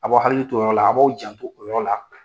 Aw b'aw hakili t'o yɔrɔ la, a' b'aw janto o yɔrɔ la